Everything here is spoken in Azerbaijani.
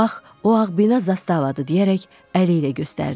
Bax, o ağ bina zastavadı deyərək əli ilə göstərdi.